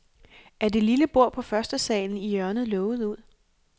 Er det lille bord på førstesalen i hjørnet lovet ud?